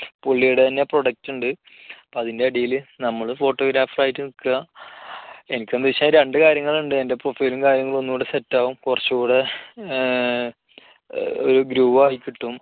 പുള്ളിയുടെ തന്നെ product ഉണ്ട് അപ്പോ അതിൻറെ അടിയിൽ നമ്മൾ photographer ആയിട്ട് നിൽക്കുക എനിക്കൊന്നു വച്ചാൽ രണ്ടു കാര്യങ്ങൾ ഉണ്ട് എൻറെ profile ഉം കാര്യങ്ങളും ഒന്നുകൂടെ set ആവും കുറച്ചുകൂടെ ഒരു grow ആയി കിട്ടും